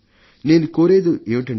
నేను కోరేది ఏమిటంటే